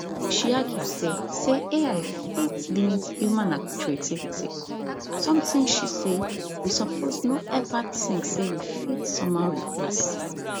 she argue say say ai fit limit human creativity sometin she say we suppose no ever think say we fit somehow replace